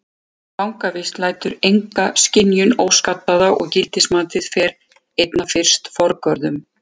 Fangavist lætur enga skynjun óskaddaða og gildismatið fer einna fyrst forgörðum.